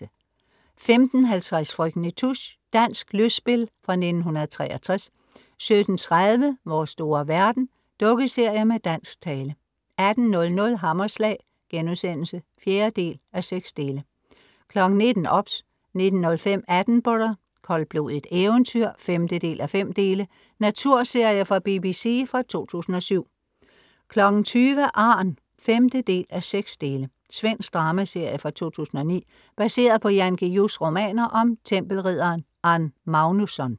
15:50 Frøken Nitouche. Dansk lystspil fra 1963 17:30 Vores store verden. Dukkeserie med dansk tale 18:00 Hammerslag* (4:6) 19:00 OBS 19:05 Attenborough. Koldblodigt eventyr (5:5) Naturserie fra BBC fra 2007 20:00 Arn (5:6) Svensk dramaserie fra 2009 baseret på Jan Guillous romaner om tempelridderen Arn Magnusson